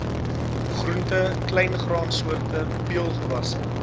groente kleingraansoorte peulgewasse